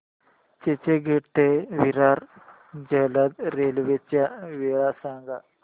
चर्चगेट ते विरार जलद रेल्वे च्या वेळा सांगा